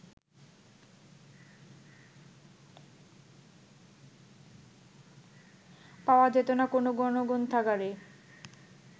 পাওয়া যেত না কোনো গণগ্রন্থাগারে